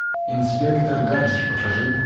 инспектор гаджет покажи